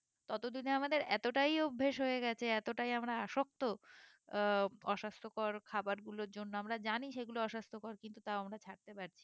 ততদিনে আমাদের এতটাই অভ্যেস হয়ে গেছে এতটাই আমরা আসক্ত আহ অস্বাস্থকর খাবার গুলোর জন্য আমরা জানি সেগুলো অস্বাস্থকর কিন্তু তাও আমরা ছাড়তে পারছি না